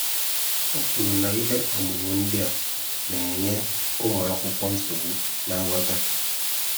O kwuru na, [Ihe ọmụmụ ndị a] na-enye ụmụakwụkwọ nsogbu na nghọta